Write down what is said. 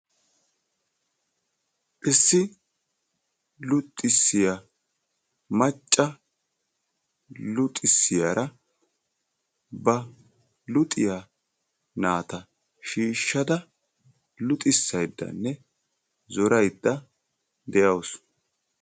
Issi luxissiya macca luxissiyara ba luxissiyo naata shiishshada luxisayddanne zoraydda de"awusu.